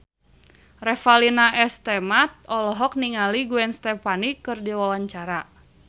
Revalina S. Temat olohok ningali Gwen Stefani keur diwawancara